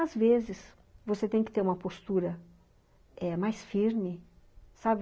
Às vezes você tem que ter uma postura, é, mais firme, sabe?